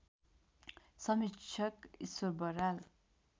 समीक्षक ईश्वर बराल